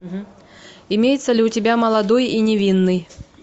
имеется ли у тебя молодой и невинный